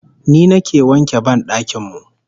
Ni nake wanke ban dakin mu